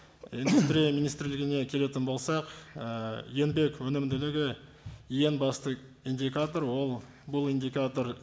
индустрия министрлігіне келетін болсақ ііі еңбек өнімділігі ең басты индикатор ол бұл индикатор